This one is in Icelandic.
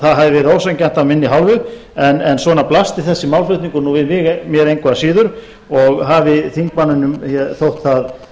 hafi verið ósanngjarnt af minni hálfu en svona blasti nú þessi málflutningur nú við mér engu að síður og hafi þingmanninum þótt það